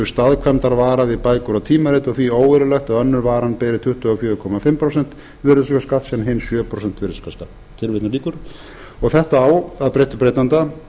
staðkvæmdarvara við bækur og tímarit og því óeðlilegt að önnur varan beri tuttugu og fjögur komma fimm prósenta virðisaukaskatt en sjö prósenta virðisaukaskatt þetta á að breyttu breytanda